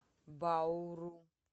бауру